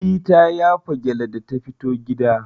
Eh ta yafa gyalle da ta fito gida.